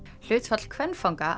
hlutfall kvenfanga